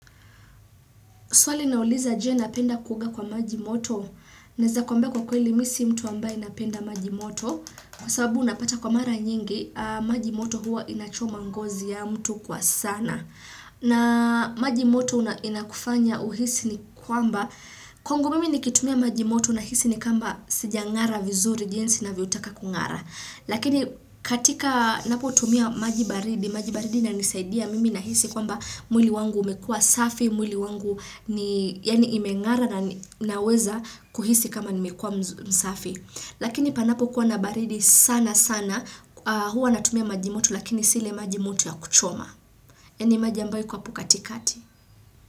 Swali nauliza je napenda kuoga kwa maji moto. Naeza kwambia kwa kweli mi si mtu ambaye napenda maji moto. Kwa sababu unapata kwa mara nyingi, maji moto huwa inachoma ngozi ya mtu kwa sana. Na maji moto inakufanya uhisi ni kwamba. Kwangu mimi nikitumia maji moto na hisi ni kamba sijangara vizuri jinsi navyotaka kungara. Lakini katika napo tumia maji baridi, maji baridi inanisaidia mimi nahisi kwamba mwili wangu umekua safi, mwili wangu ni yani imengara na naweza kuhisi kama nimekua msafi. Lakini panapo kuwa na baridi sana sana huwa natumia majimoto lakini si ile majimoto ya kuchoma. Yani maji ambayo iko apo kati kati.